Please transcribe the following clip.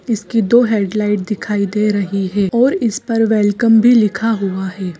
इसकी दो हेडलाइट दिखाई दे रही है और इस पर वेलकम भी लिखा हुआ है।